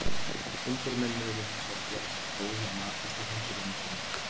Undirmennirnir urðu hins vegar að gera sér að góðu að matast í hengirúmum sínum.